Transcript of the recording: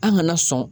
An kana sɔn